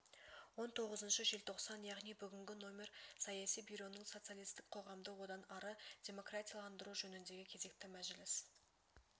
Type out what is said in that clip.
он тоғызыншы желтоқсан яғни бүгінгі нөмір саяси бюроның социалистік қоғамды одан ары демократияландыру жөніндегі кезекті мәжіліс